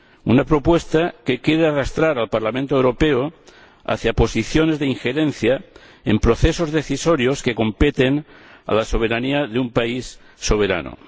una propuesta que quiere arrastrar al Parlamento Europeo hacia posiciones de injerencia en procesos decisorios que competen a la soberanía de un país soberano.